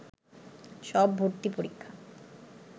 সব ভর্তি পরীক্ষা